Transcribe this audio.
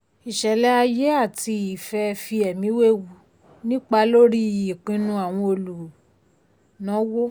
ìṣẹ̀lẹ̀ ayé àti ìfẹ́ fi ẹ̀mí wewu nípa lórí ìpinnu àwọn olùnáwó.